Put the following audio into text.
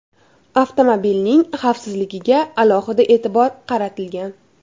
Avtomobilning xavfsizligiga alohida e’tibor qaratilgan.